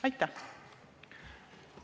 Aitäh!